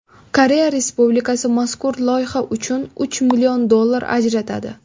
Koreya Respublikasi mazkur loyiha uchun uch million dollar ajratadi.